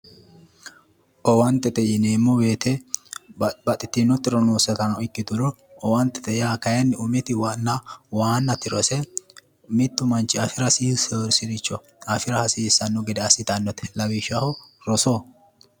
Owaantete yineemmo woyte babbaxxitino tiro nooseta ikkiturono owaantete yaa kayinni umiti waanna tirose mittu manchi afira hasiisseyosiricho afira hasiissanno gede assitannote lawishshaho rosoho